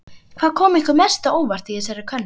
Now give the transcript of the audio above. Hvað kom ykkur mest á óvart í þessari könnun?